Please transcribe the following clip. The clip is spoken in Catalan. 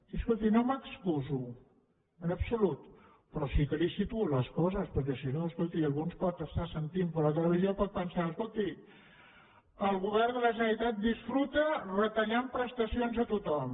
i escolti no m’excuso en absolut però sí que li situo les coses perquè si no escolti algú ens pot estar sentint per la televisió i pot pensar escolti el govern de la generalitat disfruta retallant prestacions a tothom